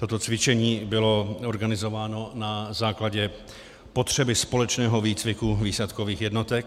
Toto cvičení bylo organizováno na základě potřeby společného výcviku výsadkových jednotek.